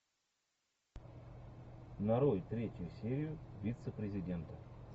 нарой третью серию вице президента